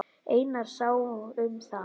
Einar sá um það.